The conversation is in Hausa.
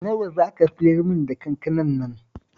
Nawa za ka siyarmin da kankanar nan?